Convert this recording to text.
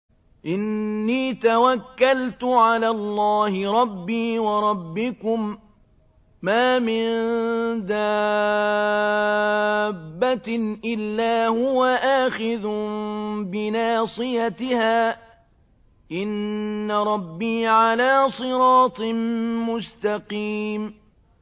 إِنِّي تَوَكَّلْتُ عَلَى اللَّهِ رَبِّي وَرَبِّكُم ۚ مَّا مِن دَابَّةٍ إِلَّا هُوَ آخِذٌ بِنَاصِيَتِهَا ۚ إِنَّ رَبِّي عَلَىٰ صِرَاطٍ مُّسْتَقِيمٍ